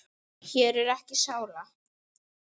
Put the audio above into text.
Hér er ekki sála.